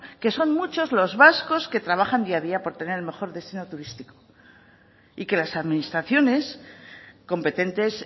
que son muchos los vascos que trabajan día a día por tener el mejor destino turístico y que las administraciones competentes